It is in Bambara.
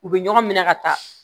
U bɛ ɲɔgɔn minɛ ka taa